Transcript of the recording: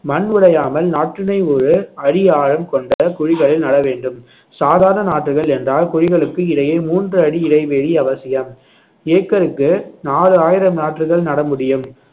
மண் உடையாமல் நாற்றினை ஒரு அடி ஆழம் கொண்ட குழிகளில் நட வேண்டும் சாதாரண நாற்றுகள் என்றால் குழிகளுக்கு இடையே மூன்று அடி இடைவெளி அவசியம் ஏக்கருக்கு நாலு ஆயிரம் நாற்றுகள் நட முடியும்